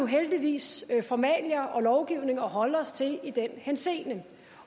heldigvis formalia og lovgivning at holde os til i den henseende